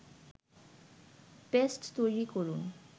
paste তৈরি করুন